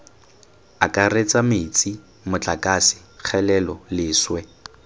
akaretsa metsi motlakase kgelelo leswe